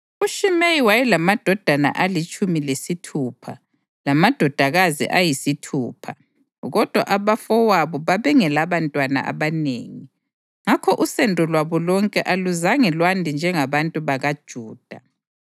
UShimeyi wayelamadodana alitshumi lesithupha lamadodakazi ayisithupha, kodwa abafowabo babengelabantwana abanengi, ngakho usendo lwabo lonke aluzanga lwande njengabantu bakaJuda.